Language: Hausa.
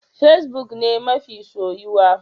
Fesbuk ne mafi soyuwa.